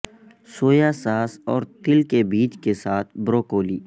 سویا sauce اور تل کے بیج کے ساتھ بروکولی